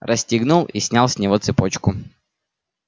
расстегнул и снял с него цепочку